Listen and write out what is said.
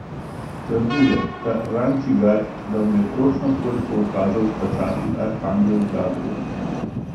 Trdil je, ta Rančigaj, da mu je točno toliko ukazal izplačat arhangel Gabrijel.